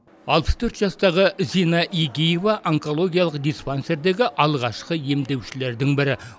алпыс төрт жастағы зина эгиева онкологиялық диспансердегі алғашқы емдеушідердің бірі